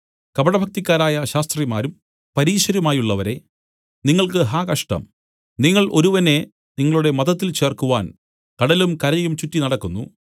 കപടഭക്തിക്കാരായ ശാസ്ത്രിമാരും പരീശരുമായുള്ളവരേ നിങ്ങൾക്ക് ഹാ കഷ്ടം നിങ്ങൾ ഒരുവനെ നിങ്ങളുടെ മതത്തിൽ ചേർക്കുവാൻ കടലും കരയും ചുറ്റി നടക്കുന്നു